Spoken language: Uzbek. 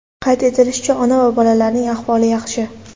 Qayd etilishicha, ona va bolalarning ahvoli yaxshi.